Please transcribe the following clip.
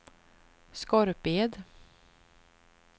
Skorped